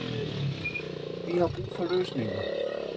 Vi har brug for løsninger.